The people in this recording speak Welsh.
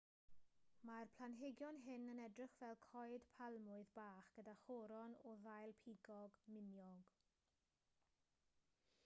mae'r planhigion hyn yn edrych fel coed palmwydd bach gyda choron o ddail pigog miniog